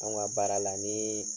Anw ka baara la nii